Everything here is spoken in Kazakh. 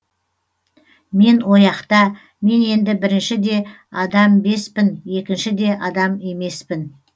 мен ояқта мен енді бірінші де адамбеспін екінші де адам емеспін